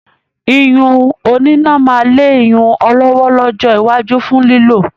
iyùn òní iná máa lé iyùn ọlọ́wọ́ lọ́jọ́ iwájú fún lílò